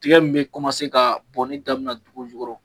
Tigɛ min be ka bɔnni daminɛ dugu jukɔrɔ